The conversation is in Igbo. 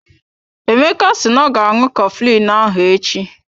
Emeka si na ọ ga aṅụ coflin ahụ echi.